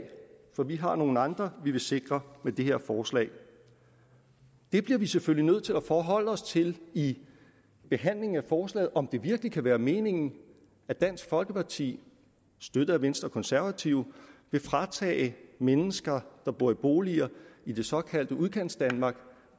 for vi har nogle andre vi vil sikre med det her forslag det bliver vi selvfølgelig nødt til at forholde os til i behandlingen af forslaget altså om det virkelig kan være meningen at dansk folkeparti støttet af venstre og konservative vil fratage mennesker der bor i boliger i det såkaldte udkantsdanmark